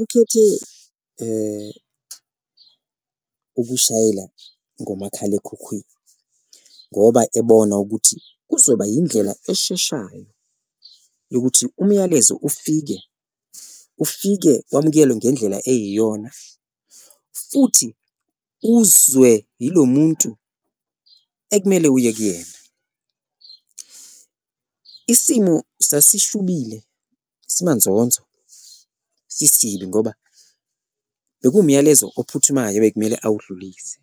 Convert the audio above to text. Ukhethe ukushayela ngomakhalekhukhwini ngoba ebona ukuthi uzoba yindlela esheshayo yokuthi umyalezo ufike, ufike wamukelwe ngendlela eyiyona futhi uzwe ilo muntu ekumele uye kuyena. Isimo sasishubile, simanzonzo, sisibi ngoba bekuwumyalezo ophuthumayo ebekumele awudlulise